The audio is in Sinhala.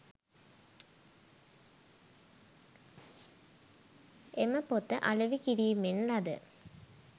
එම පොත අලෙවි කිරීමෙන් ලද